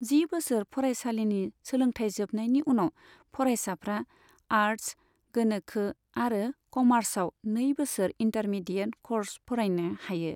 जि बोसोर फरायसालिनि सोलोंथाइ जोबनायनि उनाव फरायसाफ्रा आर्ट्स, गोनोखो आरो क'मार्सआव नै बोसोर इन्टारमीडिएट क'र्स फरायनो हायो।